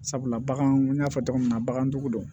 Sabula bagan n y'a fɔ tɔgɔ min na bagandugu don